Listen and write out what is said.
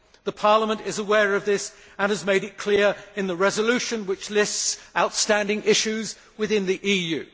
The Parliament is aware of this and has made it clear in the resolution which lists outstanding issues within the EU.